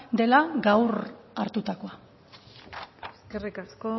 dela gaur hartutakoa eskerrik asko